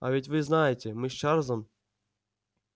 а ведь вы знаете мы с чарлзом